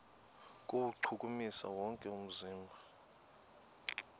kuwuchukumisa wonke umzimba